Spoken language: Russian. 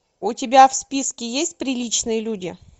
у тебя в списке есть приличные люди